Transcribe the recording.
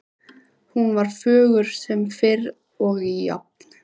Hún var fögur sem fyrr og jafn